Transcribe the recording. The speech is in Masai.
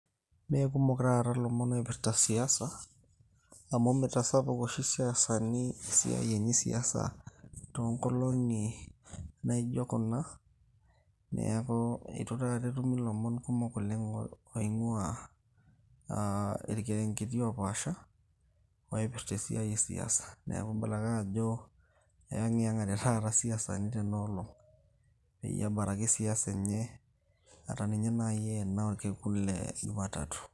Meekumok taata ilomon oipirta siasa, amu mitasapuk oshi isiasani esiai enye esiasa, toonkolong'i naijo kuna. Neeku eitu taata etumi lomon kumok oleng' oing'ua ah irkerenketi opaasha, oipirta esiai esiasa. Neeku kibala ake ajo eing'iyeng'ate isiasani tenoolong'. Peyie ebaraki siasa enye atanye nai enaa orkekun le juma tatu.